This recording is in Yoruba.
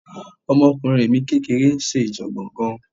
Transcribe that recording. Ọmọkùnrin mi kékeré ń ṣèjọ̀gbọ̀n gan-an